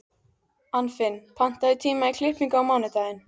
Anfinn, pantaðu tíma í klippingu á mánudaginn.